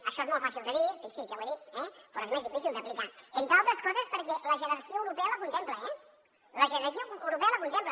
això és molt fàcil de dir fixi s’hi ja ho he dit eh però és més difícil d’aplicar entre altres coses perquè la jerarquia europea la contempla la jerarquia europea la contempla